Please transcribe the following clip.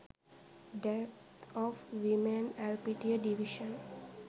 deth of women elpitiya divition